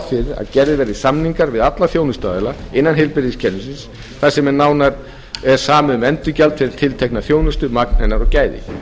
fyrir að gerðir verði samningar við alla þjónustuaðila innan heilbrigðiskerfisins þar sem nánar er samið um endurgjald fyrir tiltekna þjónustu magn hennar og gæði